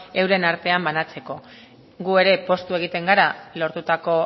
euren artean banatzeko gu ere poztu egiten gara lortutako